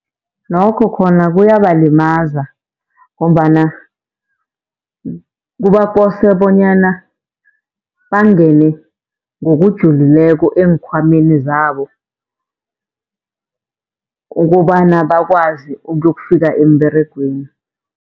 Nokho khona kuyabalimaza, ngombana kubakose bonyana bangene ngokujulileko eenkhwameni zabo ukobana bakwazi ukuyokufika emberegweni.